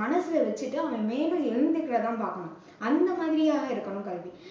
மனசுல வெச்சுக்கிட்டு அவன் மேலும் எழுந்திருக்க தான் பார்க்கணும். அந்த மாதிரியானதா இருக்கணும் கல்வி.